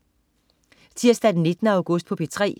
Tirsdag den 19. august - P3: